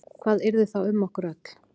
Hvað yrði þá um okkur öll?